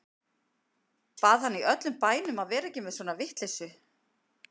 Bað hann í öllum bænum að vera ekki með svona vitleysu.